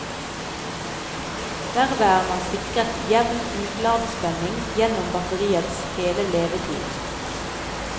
Derved er man sikret jevn utladespenning gjennom batteriets hele levetid.